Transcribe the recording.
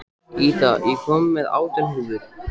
Ída, ég kom með átján húfur!